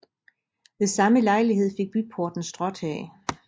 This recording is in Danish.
Ved samme lejlighed fik byporten stråtag